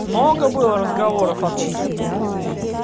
много было разговоров о том